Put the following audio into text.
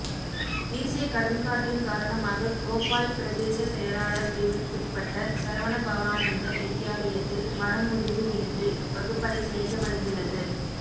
வீசிய கடும் காற்றின் காரணமாக கோப்பாய் பிரதேச செயலாளர் பிரிவுக்குட்பட்ட சரவணபவானந்த வித்தியாலயத்தில் மரம் முறிந்து விழுந்து வகுப்பறை சேதமடைந்துள்ளது